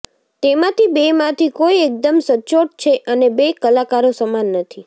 તેમાંથી બેમાંથી કોઈ એકદમ સચોટ છે અને બે કલાકારો સમાન નથી